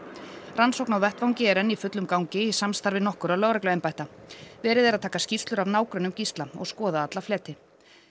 rannsókn á vettvangi er enn í fullum gangi í samstarfi nokkurra lögregluembætta verið er að taka skýrslur af nágrönnum Gísla og skoða alla fleti